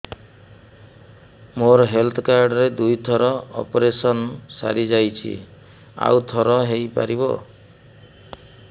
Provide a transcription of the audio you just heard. ମୋର health card ରେ ଦୁଇ ଥର ଅପେରସନ ସାରି ଯାଇଛି ଆଉ ଥର ହେଇପାରିବ